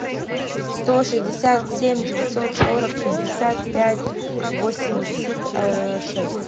сто шестьдесят семь девятьсот сорок пятьдесят пять восемьдесят шесть